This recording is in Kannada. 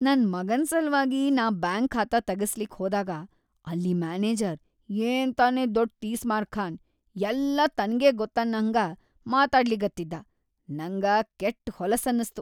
ನನ್‌ ಮಗನ್‌ ಸಲ್ವಾಗಿ ನಾ ಬ್ಯಾಂಕ್‌ ಖಾತಾ ತಗಸ್ಲಿಕ್ಕಿ ಹೋದಾಗ ಅಲ್ಲಿ ಮ್ಯಾನೇಜರ್‌ ಏನ್‌ ತಾನೇ ದೊಡ್‌ ತೀಸ್ಮಾರ್ಖಾನ್ ಯಲ್ಲಾ ತನ್ಗೇ ಗೊತ್ತನ್ನಹಂಗ ಮಾತಾಡ್ಲಿಗತ್ತಿದ್ದಾ ನಂಗ ಕೆಟ್‌ ಹೊಲಸ್‌ ಅನಸ್ತು.